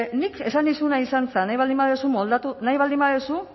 nik esan nizuna izan zen nahi baldin baduzu moldatu nahi baldin baduzu